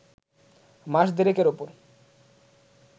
মাস দেড়েকের ওপর